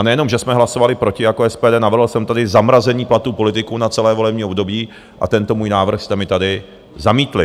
A nejenom, že jsme hlasovali proti jako SPD, navrhl jsem tady zamrazení platů politiků na celé volební období - a tento můj návrh jste mi tady zamítli.